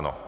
Ano.